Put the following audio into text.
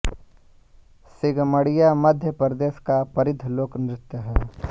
सीगमड़ियां मध्य प्रदेश का परिद्ध लोक नृत्य है